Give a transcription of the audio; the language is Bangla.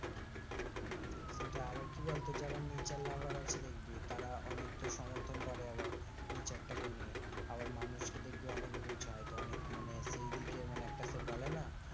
সেটাই আবার কি বলতো, যারা nature lover আছে দেখবি তারা অনেক তো সমর্থন করে আবার nature টাকে নিয়ে আবার মানুষ কে দেখবি অনেক বুঝাই তো অনেক মানে সেইদিকে মানে একটা সে বলে না,